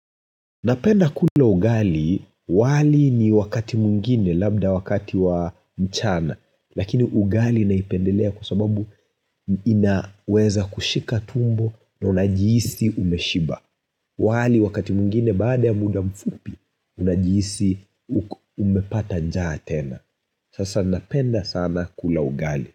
Napenda kula ugali wali ni wakati mwingine labda wakati wa mchana, lakini ugali naipendelea kwa sababu inaweza kushika tumbo na unajihisi umeshiba. Wali wakati mungine baada ya muda mfupi, unajihisi umepata njaa tena. Sasa napenda sana kula ugali.